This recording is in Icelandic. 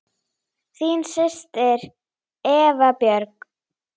Þín systir, Eva Björg.